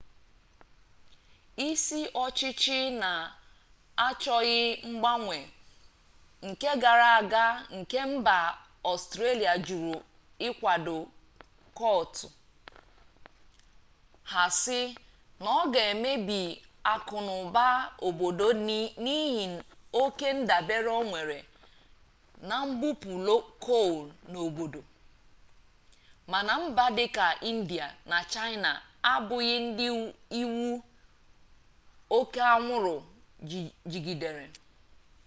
isi ọchịchị na-achọghị mgbanwe nke gara aga nke mba ọstrelia jụrụ ịkwado kyoto ha sị na ọ ga emebi akụnụba obodo n'ihi oke ndabere o nwere na mbupu coal n'obodo mana mba dịka india na chaịna abụghị ndị iwu oke anwụrụ jigidere